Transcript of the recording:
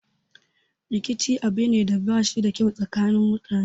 Rikici abu ne da bashi da kyau a tsakanin mutane